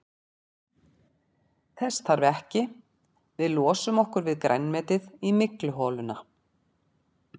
Þess þarf ekki, við losum okkur við grænmetið í mygluholuna.